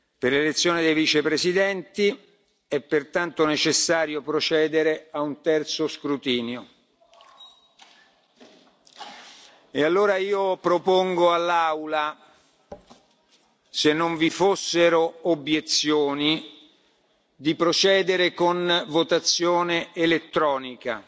Per l'elezione dei Vicepresidenti è pertanto necessario procedere a un terzo scrutinio. Propongo dunque all'Aula, se non vi fossero obiezioni, di procedere con votazione elettronica.